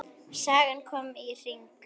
Sagan komin í hring.